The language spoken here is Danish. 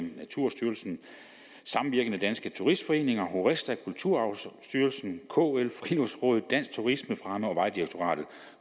naturstyrelsen samvirkende danske turistforeninger horesta kulturarvsstyrelsen kl friluftsrådet dansk turismefremme og vejdirektoratet